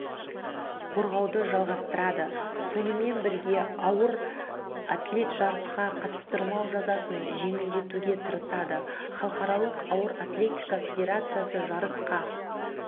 қорғауды жалғастырады сонымен бірге ауыр атлеттіжарысқа қатыстырмау жазасын жеңілдетуге тырысады халықаралық ауыр атлетика федерациясы жарысқа